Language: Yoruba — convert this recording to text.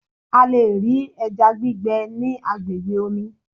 A lè rí ẹja gbígbẹ ní agbègbè omi.